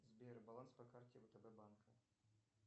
сбер баланс по карте втб банка